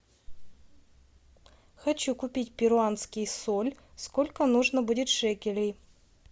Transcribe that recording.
хочу купить перуанский соль сколько нужно будет шекелей